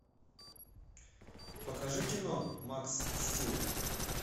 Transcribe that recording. покажи кино макс стил